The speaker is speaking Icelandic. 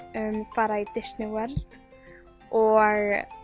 fara í Disney World og